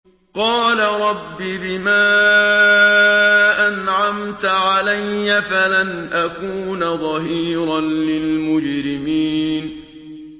قَالَ رَبِّ بِمَا أَنْعَمْتَ عَلَيَّ فَلَنْ أَكُونَ ظَهِيرًا لِّلْمُجْرِمِينَ